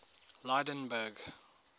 lydenburg